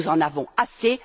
Nous en avons assez!